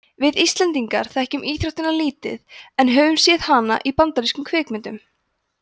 við íslendingar þekkjum íþróttina lítið en höfum séð hana í bandarískum kvikmyndum